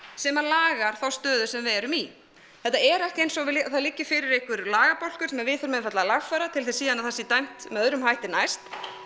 sem að lagar þá stöðu sem við erum í þetta er ekki eins og það liggi fyrir einhver lagabálkur sem við þurfum einfaldlega að lagfæra til þess síðan að það sé dæmt með öðrum hætti næst